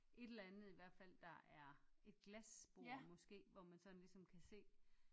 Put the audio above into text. Et eller andet i hvert fald der er et glasbord måske hvor man ligesom kan se